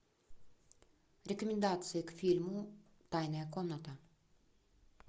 рекомендации к фильму тайная комната